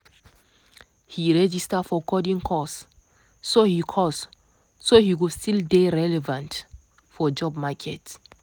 he register for coding course so he course so he go still dey relevant for job market.